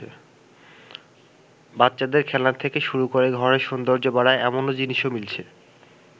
বাচ্চাদের খেলনা থেকে শুরু করে ঘরের সৌন্দর্য বাড়ায়, এমনও জিনিসও মিলছে।